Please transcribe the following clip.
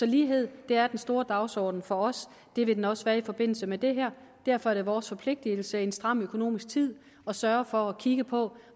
lighed er den store dagsorden for os det vil den også være i forbindelse med det her derfor er det vores forpligtelse i en stram økonomisk tid at sørge for at kigge på